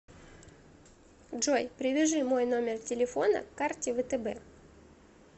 джой привяжи мой номер телефона к карте втб